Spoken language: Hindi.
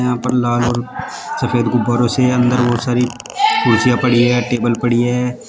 वहां पर लाल और सफेद गुब्बारो से अंदर बहुत सारी कुर्सियां पड़ी है टेबल पड़ी है।